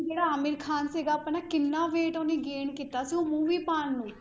ਜਿਹੜਾ ਆਮਿਰ ਖ਼ਾਨ ਸੀਗਾ ਆਪਣਾ ਕਿੰਨਾ wait ਉਹਨੇ gain ਕੀਤਾ ਸੀ ਉਹ movie ਪਾਉਣ ਨੂੰ